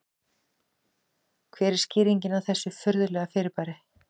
Hver er skýringin á þessu furðulega fyrirbæri?